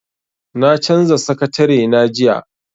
Na canza sakatarena jiya.